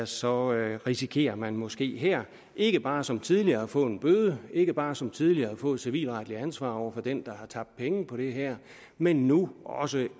så risikerer man måske her ikke bare som tidligere at få en bøde ikke bare som tidligere at få et civilretligt ansvar over for den der har tabt penge på det her men nu også